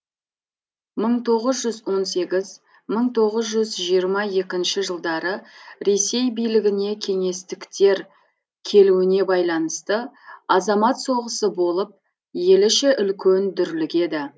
мың тоғыз жүз он сегіз мың тоғыз жүз жиырма екінші жылдары ресей билігіне кеңестіктер келуіне байланысты азамат соғысы болып ел іші үлкен дүрілгеді